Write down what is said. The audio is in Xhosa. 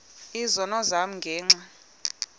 izono zam ngenxa